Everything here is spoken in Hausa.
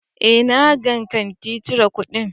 Eh, na gang kati cire kudin.